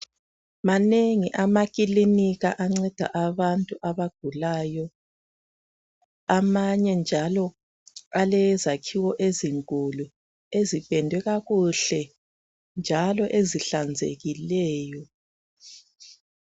Manengi amakilinika anceda abantu abagulayo amanye njalo alezakhiwo ezinkulu ezipendwe kakuhle njalo ezihlanzekileyo